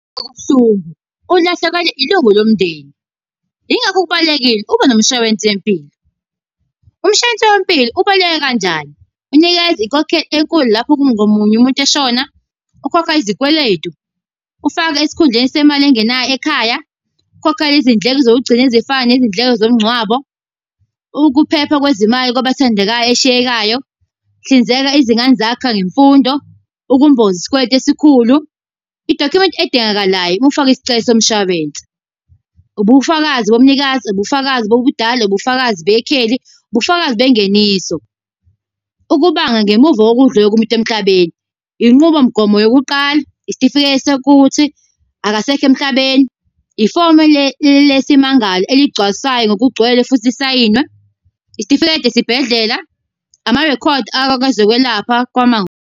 Kubuhlungu ukulahlekelwa ilungu lomndeni. Yingakho kubalulekile ubenomshwalensi wempilo. Umshwalense wempilo ubaluleke kanjani? Unikeza inkokhelo enkulu lapho umuntu eshona. Ukhokha izikweletu, ufake esikhundleni semali engenayo ekhaya. Ukhokha izindleko zokugcina ezifana nezindleko zomngcwabo. Ukuphepha kwezimali kwabathandekayo eshiyekayo. Hlinzeka izingane zakho ngemfundo, ukumboza isikweletu esikhulu. Idokhumenti edingakalayo ukufaka isicelo, somshwalense, ubufakazi bomnikazi, ubufakazi bobudala, ubufakazi bekheli, ubufakazi bengeniso. Ukubanga ngemuva kokudla komuntu emhlabeni. Inqubomgomo yokuqala, isitifiketi sokuthi akasekho emhlabeni, ifomu lesimmangalo eligcwalisayo ngokugcwele futhi isayinwe, isitifikedi esibhedlela, amarekhodi akakwezokwelapha .